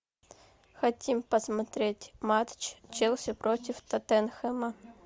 хотим посмотреть матч челси против тоттенхэма